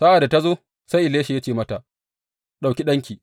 Sa’ad da ta zo, sai Elisha ya ce mata, Ɗauki ɗanki.